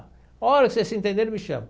A hora que vocês se entenderem, me chama.